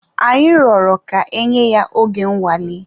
Anyi rọrọ ka enye ya oge nnwale.